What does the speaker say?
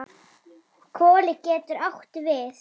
Koli getur átt við